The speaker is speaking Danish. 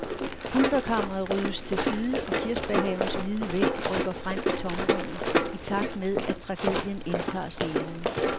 Pulterkammeret ryddes til side og kirsebærhavens hvide væg rykker frem i tomrummet, i takt med at tragedien indtager scenen.